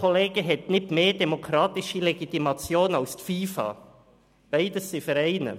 Die SKOS hat nicht mehr demokratische Legitimation als die FIFA, beides sind Vereine.